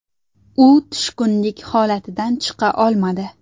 U tushkunlik holatidan chiqa olmadi.